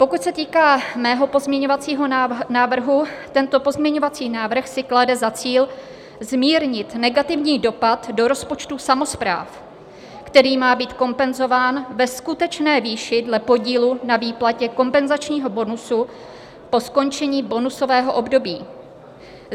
Pokud se týká mého pozměňovacího návrhu, tento pozměňovací návrh si klade za cíl zmírnit negativní dopad do rozpočtu samospráv, který má být kompenzován ve skutečné výši dle podílu na výplatě kompenzačního bonusu po skončení bonusového období.